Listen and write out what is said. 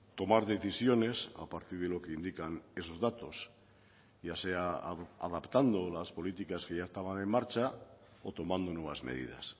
tomar decisiones a partir de lo que indican esos datos ya sea adaptando las políticas que ya estaban en marcha o tomando nuevas medidas